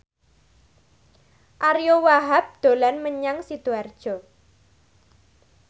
Ariyo Wahab dolan menyang Sidoarjo